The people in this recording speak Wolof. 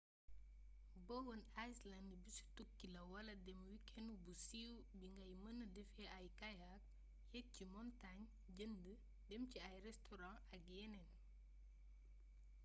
bowen island bisu tukki la wala dem wikenu bu siiw bi ngay mëna defee ay kayak yeek ci montaañ jënd dem ci ay restoran ak yeneen